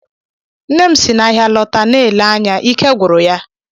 Nne m si n'ahịa lọta na-ele anya ike gwụrụ ya.